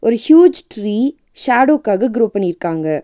ஒரு huge tree ஷேடோக்காக grow பண்ணிருக்காங்க.